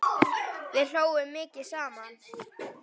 Við hlógum mikið saman.